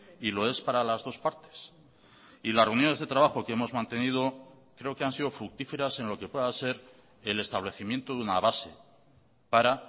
y lo es para las dos partes y las reuniones de trabajo que hemos mantenido creo que han sido fructíferas en lo que pueda ser el establecimiento de una base para